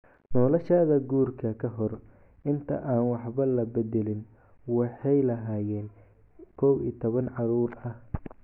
Noloshooda guurka, ka hor inta aan waxba la beddelin, waxay lahaayeen 11 carruur ah.